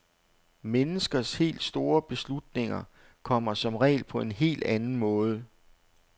Menneskers helt store beslutninger kommer som regel på en helt anden måde.